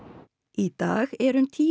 í dag eru um tíu